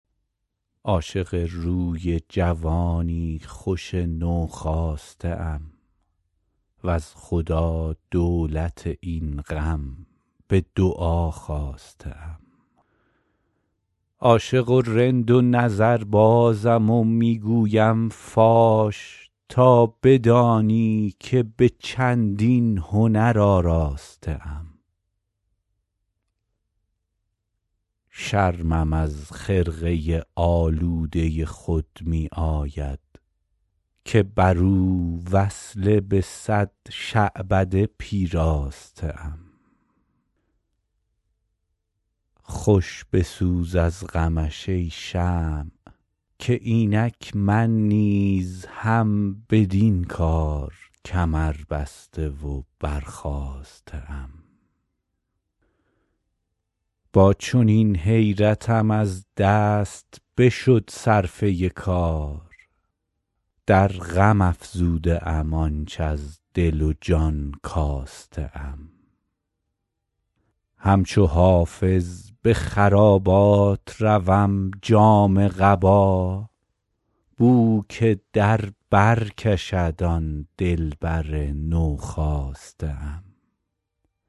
عاشق روی جوانی خوش نوخاسته ام وز خدا دولت این غم به دعا خواسته ام عاشق و رند و نظربازم و می گویم فاش تا بدانی که به چندین هنر آراسته ام شرمم از خرقه آلوده خود می آید که بر او وصله به صد شعبده پیراسته ام خوش بسوز از غمش ای شمع که اینک من نیز هم بدین کار کمربسته و برخاسته ام با چنین حیرتم از دست بشد صرفه کار در غم افزوده ام آنچ از دل و جان کاسته ام همچو حافظ به خرابات روم جامه قبا بو که در بر کشد آن دلبر نوخاسته ام